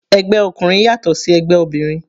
Ẹgbẹ́ ọkùnrin yàtọ̀ sí ẹgbẹ́ obìnrin.